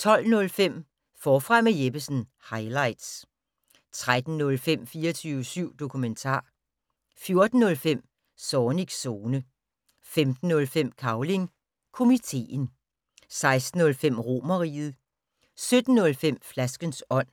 12:05: Forfra med Jeppesen - highlights 13:05: 24syv dokumentar 14:05: Zornigs Zone 15:05: Cavling Komiteen 16:05: Romerriget 17:05: Flaskens ånd